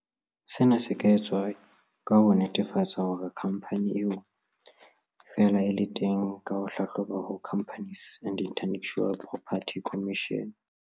Sena se ka etswa ka ho netefatsa hore khampani eo e fela e le teng ka ho e hlahloba ho Companies and Intellectual Property Commission.